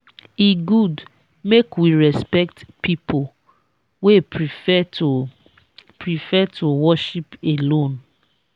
e good make we respect pipo wey prefer to prefer to worship alone.